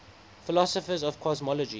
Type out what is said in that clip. philosophers of cosmology